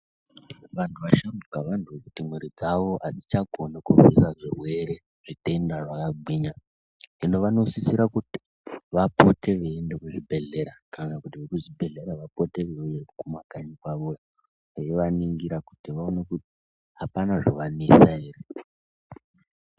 Vantu vasharuka vanoda kuti mwiri dzavo hadzichakoni kurwira zvirwere zvitenda zvakagwinya. Hino vanosisira kuti vapote veienda kuzvibhedhlera kana kuti vekuzvibhedhlera vapote vauye kumakanyi kwavoyo. Veivaningira kuti vaone kuti hapana zvovanetsa ere.